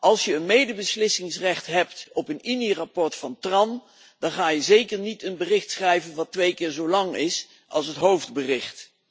Als je medebeslissingsrecht hebt over een INI verslag van TRAN dan ga je toch zeker niet een bericht schrijven dat twee keer zo lang is als het hoofdbericht.